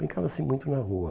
Brincava-se muito na rua.